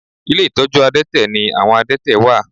Ilé ìtọ́jú àdẹ́tẹ̀ ni àwọn àdẹ́tẹ̀ wà